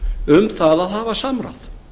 um það að hafa samráð